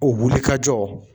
O wuli ka jɔ